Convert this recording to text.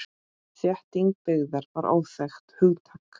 Þétting byggðar var óþekkt hugtak.